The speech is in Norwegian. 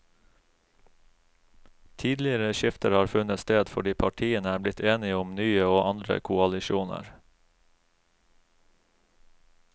Tidligere skifter har funnet sted fordi partiene er blitt enige om nye og andre koalisjoner.